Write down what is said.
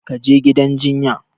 Ka je gidan jinya!